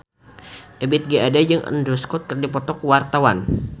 Ebith G. Ade jeung Andrew Scott keur dipoto ku wartawan